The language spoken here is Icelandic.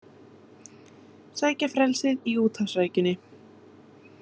Sækja í frelsið í úthafsrækjunni